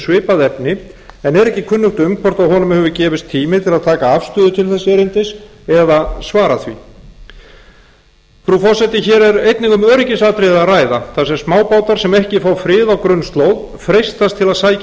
svipað efni en er ekki kunnugt um hvort honum hefur gefist tími til að taka afstöðu til þess erindis eða svara því frú forseti hér er einnig um öryggisatriði að ræða þar sem smábátar sem ekki frá frið á grunnslóð freistast til að sækja